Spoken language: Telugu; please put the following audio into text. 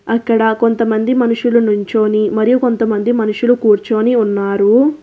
అక్కడ కొంతమంది మనుషులు నుంచొని మరియు కొంతమంది మనుషులు కూర్చొని ఉన్నారు.